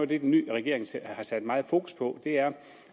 det den nye regering har sat meget fokus på er